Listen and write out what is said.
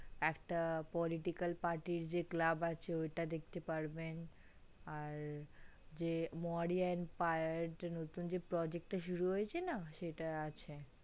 একটা policical party র যে club আছে ঐটা দেখতে পারবেন আর যে morian emperia নতুন যে project টা শুরু হয়েছে না সেটা হয়েছে